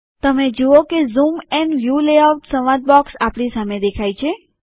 તમે જુઓ કે ઝૂમ એન્ડ વ્યુ લેઆઉટ સંવાદ બોક્સ આપણી સામે દેખાય છે